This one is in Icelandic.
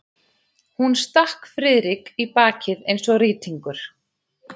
Hún stakk Friðrik í bakið eins og rýtingur.